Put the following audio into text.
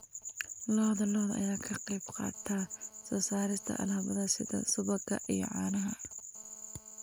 Lo'da lo'da ayaa ka qayb qaata soo saarista alaabada sida subagga iyo caanaha.